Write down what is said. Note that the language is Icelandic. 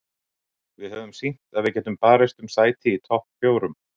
Við höfum sýnt að við getum barist um sæti í topp fjórum.